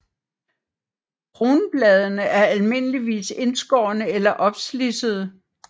Kronbladene er almindeligvis indskårne eller opslidsede